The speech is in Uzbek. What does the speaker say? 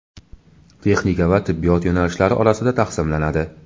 texnika va tibbiyot yo‘nalishlari orasida taqsimlanadi;.